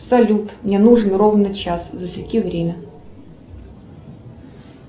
салют мне нужен ровно час засеки время